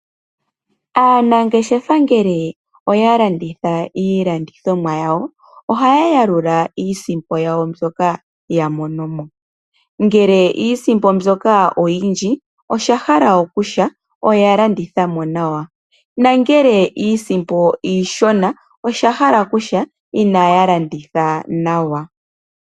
Aanangeshefa ngele oya landitha iilandithomwa yawo ohaya yalula iisimpo yawo mbyoka ya monomo. Ngele iisimpo mbyoka oyindji osha hala kutya oya landitha mo nawa, nongele iisimpo iishona osha hala kutya inaya landitha nawa.